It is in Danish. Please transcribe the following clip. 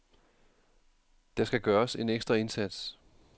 Der skal gøres en ekstra indsats.